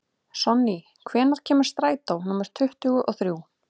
Sonný, hvenær kemur strætó númer tuttugu og þrjú?